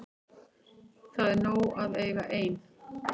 Það er nóg að eiga ein.